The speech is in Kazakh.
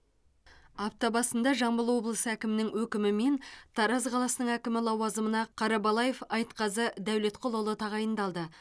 апта басында жамбыл облысы әкімінің өкімімен тараз қаласының әкімі лауазымына қарабалаев айтқазы дәулетқұлұлы тағайындалды